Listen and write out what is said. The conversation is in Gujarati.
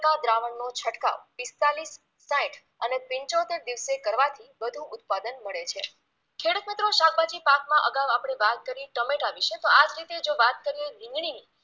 દ્રાવણનો છંટકાવ પિસ્તાલીસ સાઈઠ અને પિંચોતેર દિવસે કરવાથી વધુ ઉત્પાદન મળે છે ખેડુતમિત્રો શાકભાજી પાકમાં અગાઉ આપણે વાત કરી ટમેટા વિશે તો આ જ રીતે જો વાત કરીએ રીંગણીની